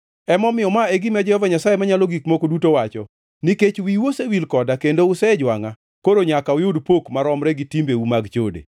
“Emomiyo ma e gima Jehova Nyasaye Manyalo Gik Moko Duto wacho: Nikech wiu osewil koda kendo usejwangʼa, koro nyaka uyud pok maromre gi timbeu mag chode.”